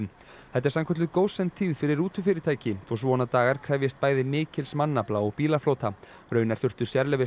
þetta er sannkölluð fyrir rútufyrirtæki þó svona dagar krefjist bæði mikils mannafla og bílaflota raunar þurftu